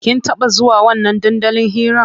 Kin taɓa zuwa wannan dandalin hiran?